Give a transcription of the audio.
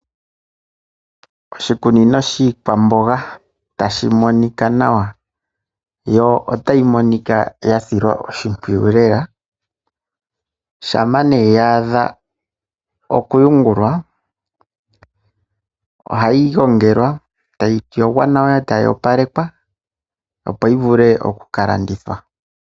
Oshikunino shikwamboga tashi monika nawa yo otayi monika yasilwa shimpwiyu lela shampa nee yadha okuyugulwa ohayi gongelwa tayi yoga nawa tayo palekwa opo yi vule okukalandithwa.